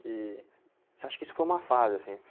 Que... Você acha que isso foi uma fase, assim?